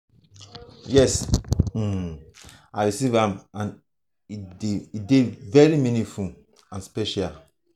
yes um i receive am and e dey very meaningful and special.